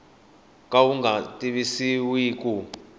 ka wu nga tivisiwi ku